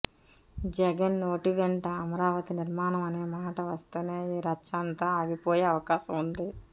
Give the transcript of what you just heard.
జగన్ నోటి వెంట అమరావతి నిర్మాణం అనేమాట వస్తేనే ఈ రచ్చ అంతా ఆగిపోయే అవకాశం ఉంది